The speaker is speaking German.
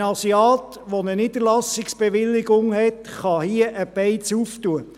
Ein Asiat mit einer Niederlassungsbewilligung kann hier eine Beiz eröffnen.